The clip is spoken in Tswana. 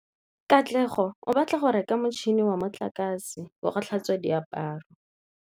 Katlego o batla go reka motšhine wa motlakase wa go tlhatswa diaparo.